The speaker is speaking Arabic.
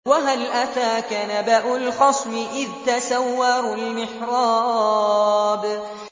۞ وَهَلْ أَتَاكَ نَبَأُ الْخَصْمِ إِذْ تَسَوَّرُوا الْمِحْرَابَ